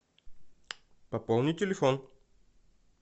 пополни телефон